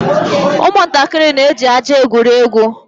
Ụmụntakịrị na-eji ájá egwuri egwu.